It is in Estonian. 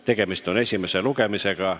Tegemist on esimese lugemisega.